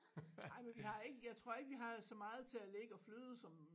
Ej men vi har ikke jeg tror ikke vi har så meget til at ligge og flyde som